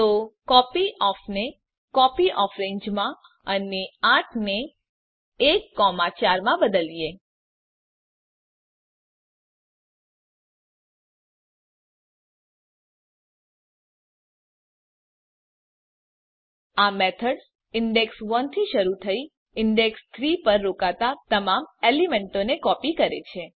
તો કોપયોફ ને કોપીયોફ્રેન્જ માં અને ૮ ને ૧ ૪ માં બદલો આ મેથડ્સ ઇંડેક્ષ ૧ થી શરૂ થઈ ઇંડેક્ષ ૩ પર રોકાતા તમામ એલીમેન્તોને કોપી કરે છે